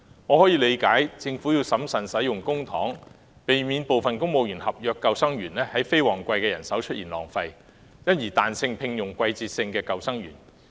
我理解政府有必要審慎使用公帑，避免因聘請過多的非公務員合約救生員而在非旺季出現人手浪費，因而彈性聘用季節性救生員。